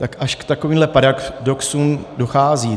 Tak až k takovým paradoxům dochází.